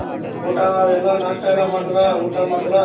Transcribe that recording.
ಊಟ ಎಲ್ಲ ನಾಷ್ಟ ಎಲ್ಲ ಮಾಡುದ್ರ ಊಟ ಮಾಡುದ್ರ ?